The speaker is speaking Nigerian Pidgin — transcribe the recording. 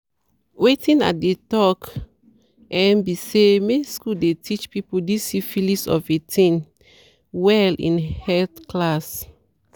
wetin i dey talk um be say make school dey teache people this syphilis of a thing well in health class